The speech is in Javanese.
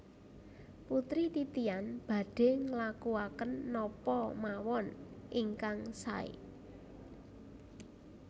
Putri Titian badhe nglakuaken napa mawon ingkang sae